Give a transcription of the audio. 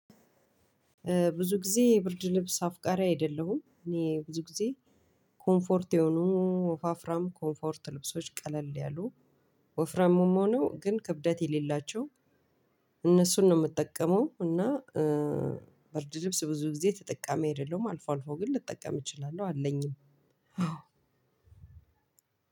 ብዙጊዜ ብርድልብስ አፍቃሪ አይደለሁም እኔ ብዙጊዜ ኮምፎርት የሆኑ ወፋፍራም ኮምፎርት ልብሶች ቀለል ያሉ ወፍራሙም ሆኖ ግን ክብደት የሌላቸው እነሱን ነው የምጠቀመው። እና በርድ ልብስ ብዙ ጊዜ ተጠቃሚ አይደለም አልፎ አልፎ ግን ልጠቀም እችላለሁ አለኝም።